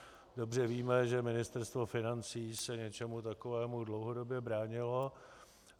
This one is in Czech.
Dobře víme, že ministerstvo financí se něčemu takovému dlouhodobě bránilo.